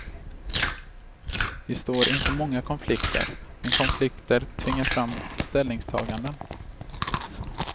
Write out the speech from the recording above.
Vi står inför många konflikter, men konflikter tvingar fram ställningstaganden.